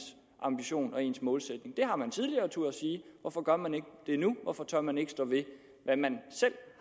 ambition og ens målsætning det har man tidligere turdet sige hvorfor gør man ikke det nu hvorfor tør man ikke stå ved hvad man selv